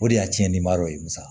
O de y'a tiɲɛnibaraw ye